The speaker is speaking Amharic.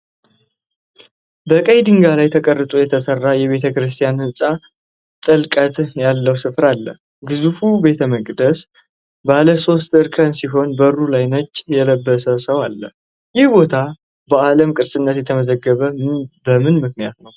በቀይ ድንጋይ ላይ ተቀርጾ የተሰራ የቤተክርስቲያን ህንፃ ጥልቀት ባለው ስፍራ አለ። ግዙፉ ቤተመቅደስ ባለ ሶስት እርከን ሲሆን በሩ ላይ ነጭ የለበሰ ሰው አለ። ይህ ቦታ በዓለም ቅርስነት የተመዘገበው በምን ምክንያት ነው?